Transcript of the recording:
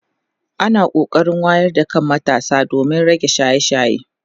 ana kokarin wayar da kan matasa domin rage shaye shaye